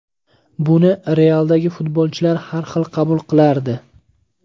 Buni ‘Real’dagi futbolchilar har xil qabul qilardi.